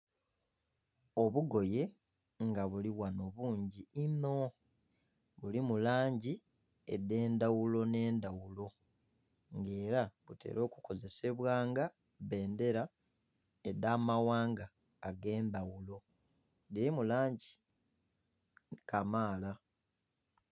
Obugoye nga buli ghano bungi inho bulimu langi edhe ndhaghulo ne ndhaghulo nga era butera okukozesebwa nga bbendhera edha maghanga age'ndhaghulo dhirimu langi kamaala.